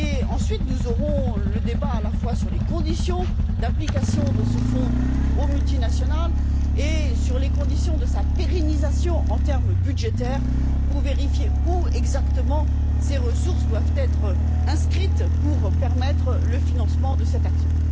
Ensuite, nous aurons le débat à la fois sur les conditions d'application de ce fonds aux multinationales et sur les conditions de sa pérennisation, en termes budgétaires, pour vérifier où exactement ces ressources doivent être inscrites de manière à permettre le financement de cette action.